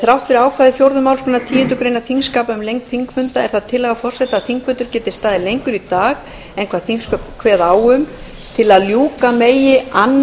þrátt fyrir ákvæði fjórðu málsgreinar tíundu greinar þingskapa um lengd þingfunda er það tillaga forseta að þingfundur geti staðið lengur í dag en þingsköp kveða á um til að ljúka megi